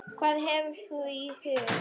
Hvað hefur þú í huga?